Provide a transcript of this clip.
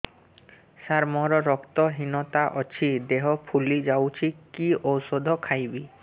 ସାର ମୋର ରକ୍ତ ହିନତା ଅଛି ଦେହ ଫୁଲି ଯାଉଛି କି ଓଷଦ ଖାଇବି